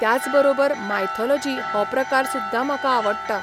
त्याच बरोबर मायथोलॉजी हो प्रकार सुद्दां म्हाका आवडटा.